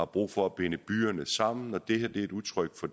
brug for at binde byerne sammen det her er et udtryk for